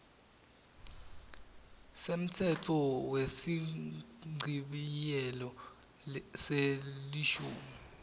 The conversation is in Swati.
semtsetfo wesichibiyelo selishumi